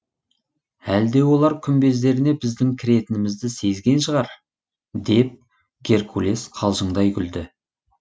әлде олар күмбездеріне біздің кіретінімізді сезген шығар деп геркулес қалжыңдай күлді